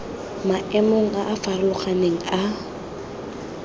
maemong a a farologaneng a